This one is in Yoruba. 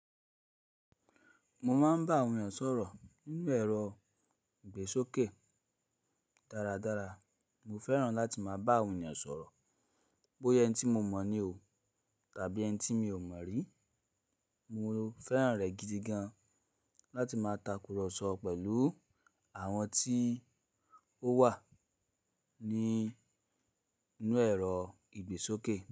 Mo máa ń bá àwọn ènìyàn sọ̀rọ̀ nínú ẹ̀rọ ìgbésókè dáradára. Mo fẹ́ràn láti máa bá àwọn ènìyàn sọ̀rọ̀, bóyẹ́ ẹni tí mo mọ̀ ni o tàbí ẹni tí mi ò mọ̀ rí. Mo fẹ́ràn rẹ̀ gidi gan láti máa takùrọ̀sọ pẹ̀lú àwọn tí ó wà ní inú ẹ̀rọ ìgbésókè.